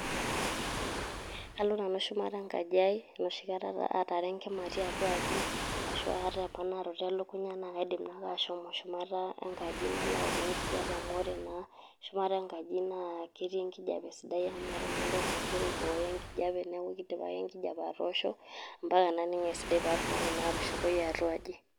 Kalo Nanu shumata enkaji aii enoshi Kata aataara enkima tiatua enkaji aii aashu aata emponaroto elekunya naa kaidim naake ashomo shumata enkaji nalo aaokok enkijiape amu ore naa shumata enkaji naa ketii enkijiape sidai amu meeta naa entoki nagira aibooyo enkijiape neaku keidim ake enkijiape atoosho ampaka naning' esidai paatumoki naake atushukoyu atwa aji.